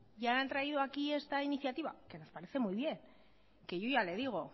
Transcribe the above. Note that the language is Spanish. y han traído aquí esta iniciativa nos parece muy bien que yo ya le digo